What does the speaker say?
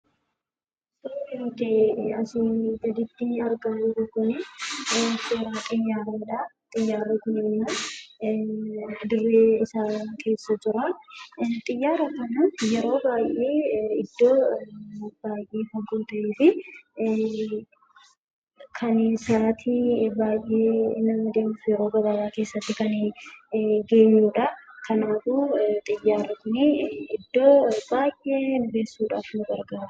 Suuraan asii gaditti argamu kun suuraa xiyyaaraadha. Xiyyaarri kunimmoo dirree isaa keessa jira. Xiyyaara kana yeroo baay'ee iddoo barbaannetti yeroo gabaabaa keessatti iddoo yaadne nu geessuuf nu fayyada.